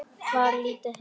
Var lítið heima.